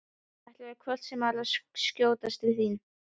Ætlaði hvort sem er að skjótast til þín.